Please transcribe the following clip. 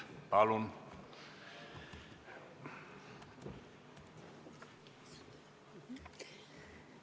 Palun!